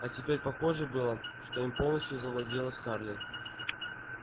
а теперь похоже было что им полностью завладела скарлетт